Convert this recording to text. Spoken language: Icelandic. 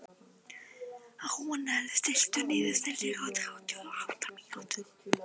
Rúnel, stilltu niðurteljara á þrjátíu og átta mínútur.